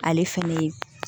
Ale fɛnɛ ye